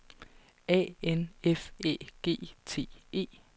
A N F Æ G T E